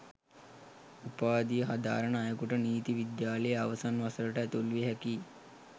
උපාධිය හදාරන අයකුට නීති විද්‍යාලයේ අවසන් වසරට ඇතුළු විය හැකියි